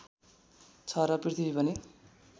छ र पृथ्वी पनि